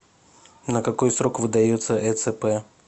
на какой срок выдается эцп